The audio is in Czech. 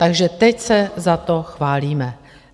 Takže teď se za to chválíme.